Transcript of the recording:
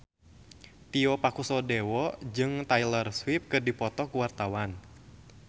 Tio Pakusadewo jeung Taylor Swift keur dipoto ku wartawan